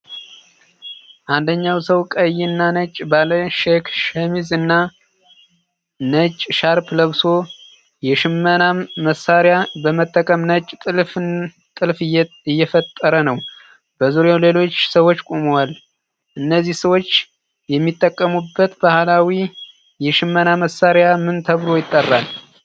አንደኛው ሰው ቀይና ነጭ ባለ ቼክ ሸሚዝ እና ነጭ ሻርፕ ለብሶ፣ የሽመና መሣሪያ በመጠቀም ነጭ ጥልፍልፍ እየፈጠረ ነው። በዙሪያው ሌሎች ሰዎች ቆመዋል። እነዚህ ሰዎች የሚጠቀሙበት ባህላዊ የሽመና መሣሪያ ምን ተብሎ ይጠራል?